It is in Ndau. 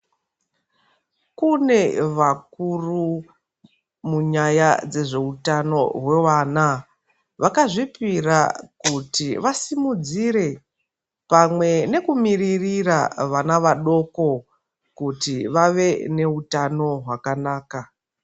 Kune vakuru munyaya dzezvehutano hwevana vakazvipira kuti vakudzire pamwe nekumirira vana vadoko kuti vava nehutano hwakanaka.